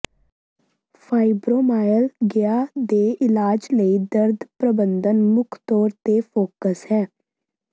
fibromyalgia ਦੇ ਇਲਾਜ ਲਈ ਦਰਦ ਪ੍ਰਬੰਧਨ ਮੁੱਖ ਤੌਰ ਤੇ ਫੋਕਸ ਹੈ